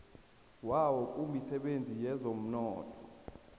wawo kumisebenzi yezomnotho